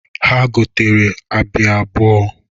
Ha gotara Abịa abụọ.